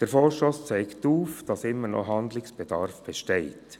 Der Vorstoss zeigt auf, dass immer noch Handlungsbedarf besteht.